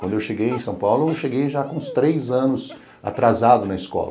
Quando eu cheguei em São Paulo, eu cheguei já com uns três anos atrasado na escola.